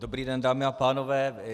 Dobrý den, dámy a pánové.